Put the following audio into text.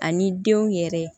Ani denw yɛrɛ